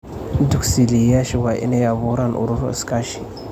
Tagsiilayaasha waa inay abuuraan ururo iskaashi.